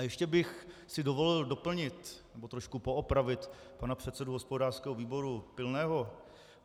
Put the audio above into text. A ještě bych si dovolil doplnit nebo trošku poopravit pana předsedu hospodářského výboru Pilného.